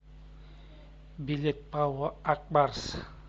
билет пао ак барс